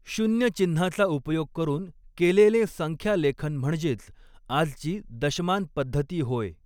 शून्य चिन्हाचा उपयोग करून केलेलें संख्या लेखन म्हणजेच आजची दशमान पध्दति होय.